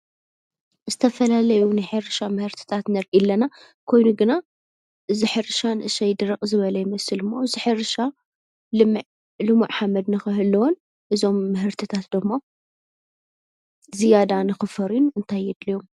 ዝተፈላላዩ ናይ ሕርሻ ምህርትታት ንርኢ ኣለና፡፡ ኮይኑ ግና እዚ ሕርሻ ንእሽተይ ድርቅ ዝበለ ይመስል፡፡ እዚ ሕርሻ ልሙዕ ሓመድ ንክህልዎን እዞም ምህርትታት ደሞ ዝያዳ ንክፈርዩን እንታይ የድልዮም?